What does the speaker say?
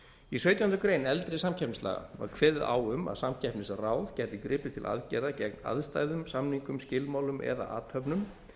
í sautjándu grein eldri samkeppnislaga var kveðið á um að samkeppnisráð gæti gripið til aðgerða gegn aðstæðum samningum skilmálum eða athöfnum